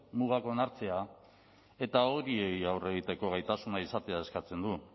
mugak onartzea eta horiei aurre egiteko gaitasuna izatea eskatzen du